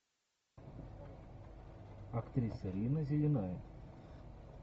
актриса рина зеленая